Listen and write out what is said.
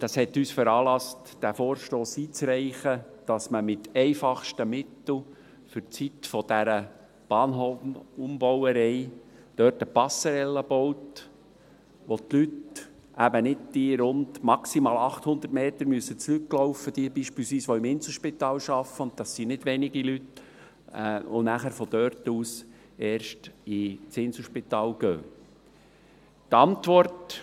Das hat uns veranlasst, diesen Vorstoss einzureichen, sodass man mit einfachsten Mitteln für die Zeit dieser Bahnhofumbauerei dort eine Passage baut, damit die Leute eben nicht diese maximal 800 Meter zurücklaufen müssen, beispielsweise jene, die im Inselspital arbeiten, und das sind nicht wenig Leute, und dann erst von dort ins Inselspital gehen können.